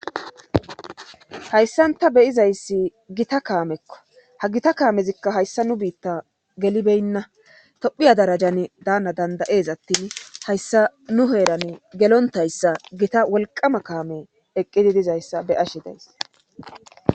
Hayssanta beyizayssi gita kaamekko ha gita kaamezikka hayssa nu biitta gelibeynna tophiya darajan daana dandayees attin hayssa nu heeran gelontayssa gita wolqama kaame eqqidi dizayssa beyashi dees.